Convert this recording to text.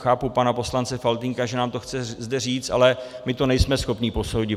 Chápu pana poslance Faltýnka, že nám to chce zde říct, ale my to nejsme schopni posoudit.